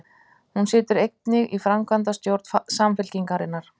Hún situr einnig í framkvæmdastjórn Samfylkingarinnar